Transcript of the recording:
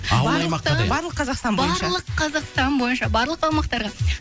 ауыл аймаққа де барлық қазақстан бойынша барлық қазақстан бойынша барлық аумақтарға